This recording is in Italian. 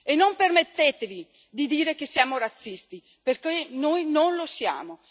E non permettetevi di dire che siamo razzisti, perché noi non lo siamo.